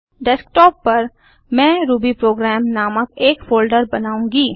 desktop पर मैं Ruby program नामक एक फोल्डर बनाऊँगी